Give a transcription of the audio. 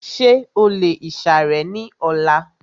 Ṣé o lè ìsàrẹ́ ní ọlá?